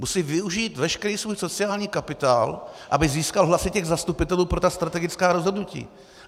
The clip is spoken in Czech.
Musí využít veškerý svůj sociální kapitál, aby získal hlasy zastupitelů pro ta strategická rozhodnutí.